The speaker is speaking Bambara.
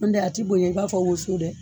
N dɛ a ti bonya i b'a fɔ woso dɛ